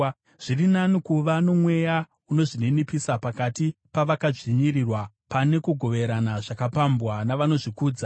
Zviri nani kuva nomweya unozvininipisa pakati pavakadzvinyirirwa pane kugoverana zvakapambwa navanozvikudza.